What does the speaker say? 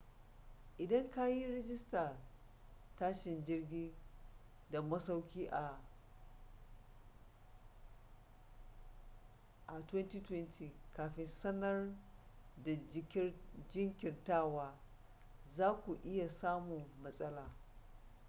idan kayi rijistar tashin jirgi da masauki a 2020 kafin sanar da jinkirtawa zaku iya samun matsala